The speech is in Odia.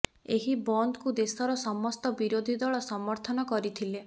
ଏହି ବନ୍ଦକୁ ଦେଶର ସମସ୍ତ ବିରୋଧୀ ଦଳ ସମର୍ଥନ କରିଥିଲେ